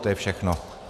To je všechno.